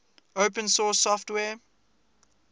open source software